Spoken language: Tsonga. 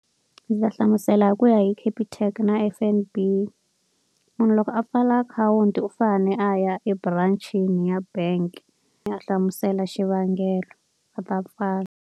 Ndzi ta hlamusela hi ku ya hi Capitec na F_N_B. Munhu loko a pfala akhawunti u fanele a ya eburancini ya bank a ya hlamusela xivangelo. Va ta pfala.